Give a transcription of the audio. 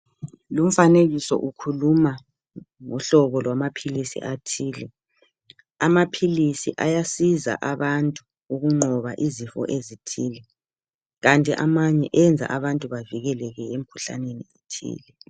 lumfanekiso ukhuluma ngohlobo lwamaphilisi athile amaphilisi ayasiza abantu ukunqoba izifo ezithile kanti amanye enza abantu bavikeleke emikhuhlaneni ethile